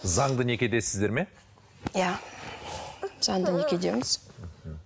заңды некедесіздер ме иә заңды некедеміз мхм